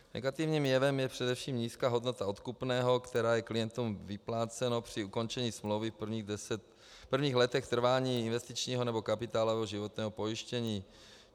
Negativním jevem je především nízká hodnota odkupného, které je klientům vypláceno při ukončení smlouvy v prvních letech trvání investičního nebo kapitálového životního pojištění.